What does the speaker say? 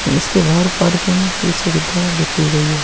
इसके बाहर पार्किंग की सुविधा भी की गई है।